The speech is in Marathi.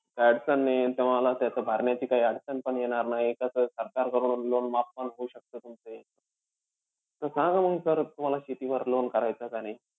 काई अडचण नाहीये. तुम्हाला त्याचं भरण्याची काई अडचण पण येणार नाहीये. कसंय सरकार कडून loan माफ पण होऊ शकतं तुमचं . त अं सांगा म sir तुम्हाला शेतीवर loan करायचंय का नाई?